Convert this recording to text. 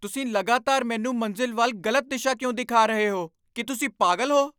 ਤੁਸੀਂ ਲਗਾਤਾਰ ਮੈਨੂੰ ਮੰਜ਼ਿਲ ਵੱਲ ਗ਼ਲਤ ਦਿਸ਼ਾ ਕਿਉਂ ਦਿਖਾ ਰਹੇ ਹੋ। ਕੀ ਤੁਸੀਂ ਪਾਗਲ ਹੋ?